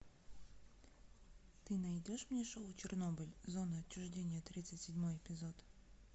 ты найдешь мне шоу чернобыль зона отчуждения тридцать седьмой эпизод